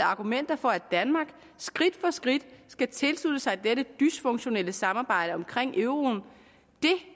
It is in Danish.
argumenter for at danmark skridt for skridt skal tilslutte sig dette dysfunktionelle samarbejde omkring euroen det